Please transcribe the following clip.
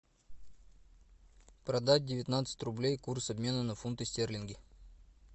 продать девятнадцать рублей курс обмена на фунты стерлинги